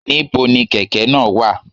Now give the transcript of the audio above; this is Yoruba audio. Ní bo ni kèkè náà wà?